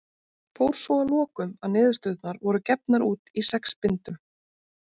Fór svo að lokum að niðurstöðurnar voru gefnar út í sex bindum.